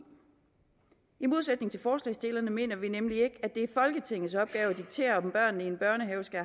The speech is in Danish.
i modsætning til forslagsstillerne mener vi nemlig ikke at det er folketingets opgave at diktere om børnene i en børnehave skal